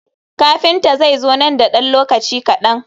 Kafinta zai zo nan da ɗan lokaci kaɗan.